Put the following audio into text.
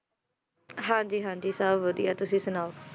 ਹਾਂ ਜੀ ਹਾਂ ਜੀ ਸਭ ਵਧੀਆ ਤੁਸੀ ਸੁਣਾਓ,